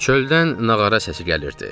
Çöldən nağara səsi gəlirdi.